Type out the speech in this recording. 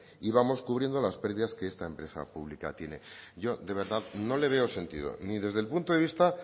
y vamos cubriendo las pérdidas que esta empresa pública tiene yo de verdad no le veo sentido ni desde el punto de vista